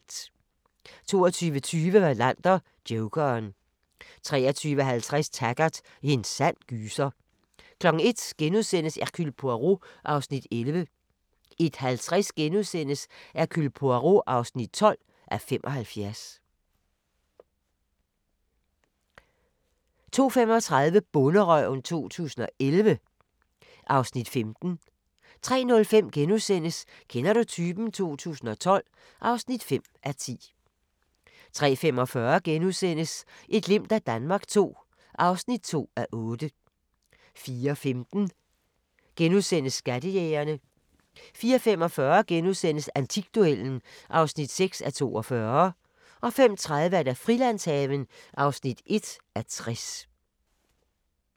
22:20: Wallander: Jokeren 23:50: Taggart: En sand gyser 01:00: Hercule Poirot (11:75)* 01:50: Hercule Poirot (12:75)* 02:35: Bonderøven 2011 (Afs. 15) 03:05: Kender du typen? 2012 (5:10)* 03:45: Et glimt af Danmark II (2:8)* 04:15: Skattejægerne * 04:45: Antikduellen (6:42)* 05:30: Frilandshaven (1:60)